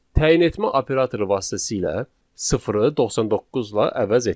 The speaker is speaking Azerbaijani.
Təyin etmə operatoru vasitəsilə sıfırı 99 ilə əvəz etdik.